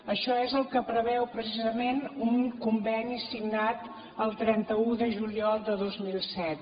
això és el que preveu precisament un conveni signat el trenta un de juliol de dos mil set